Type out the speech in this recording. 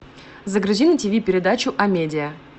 загрузи на тиви передачу амедиа